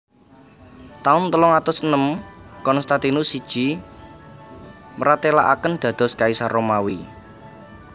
Taun telung atus enem Konstantinus siji mratèlakaken dados Kaisar Romawi